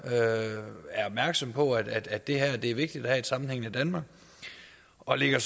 er opmærksom på at at det er vigtigt at have et sammenhængende danmark og lægger